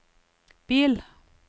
bil